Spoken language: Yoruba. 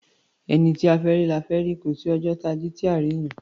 Ẹni tí a fẹ́ rí, la fẹ́ rí; kò sí ọjọ́ táa jí, táà rí èèyàn.